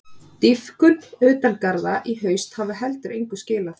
Dýpkun utan garða í haust hafi heldur engu skilað.